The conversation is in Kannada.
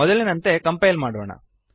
ಮೊದಲಿನಂತೆ ಕಂಪೈಲ್ ಮಾಡೋಣ